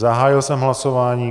Zahájil jsem hlasování.